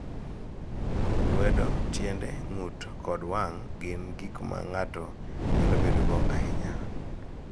Lwedo, tiende, ng�ut kod wang� gin gik ma ng�ato nyalo bedogo ahinya.